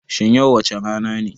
Shin yau wace rana ne